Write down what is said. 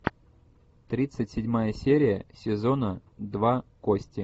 тридцать седьмая серия сезона два кости